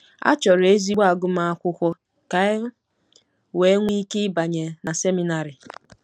A chọrọ ezigbo agụmakwụkwọ ka e wee nwee ike ịbanye na seminarị.